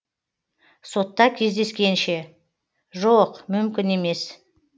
сотта кездескенше жоқ мүмкін емес